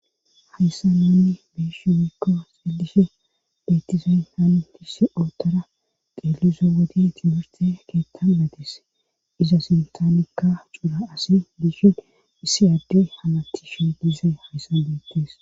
hayssan nunni beyishin woyko xeelishe beetizayn haanuhisse ootara qelizo wodi timurte keettamadis iza sintanikka cuura asi bishin issi addey hamatti she diizey hayssa deettes